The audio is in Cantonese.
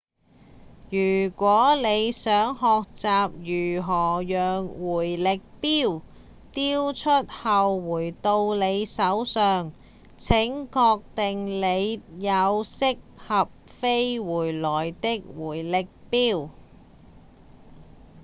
如果你想學習如何讓迴力鏢丟出後回到你手上請確定你有適合飛回來的迴力鏢